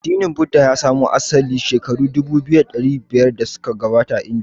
Addinin Buddha ya samo asali shekaru dubu biyu da dari biyar da suka gabata a Indiya.